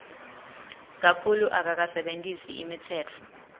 kakhulu akakasebentisi imitsetfo